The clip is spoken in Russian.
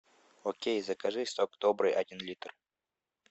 окей закажи сок добрый один литр